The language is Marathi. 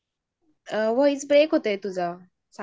व्हॉइस ब्रेक होतोय तुझा साक्षी?